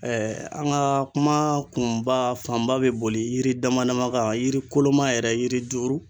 an ŋa kuma kunba fanba bɛ boli yiri dama dama ka yiri koloma yɛrɛ yiri duuru.